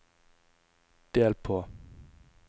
del på